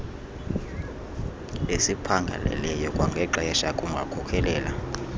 esiphangaleleyo kwangexesha kungakhokelela